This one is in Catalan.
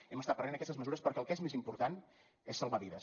hem estat prenent aquestes mesures perquè el que és més important és salvar vides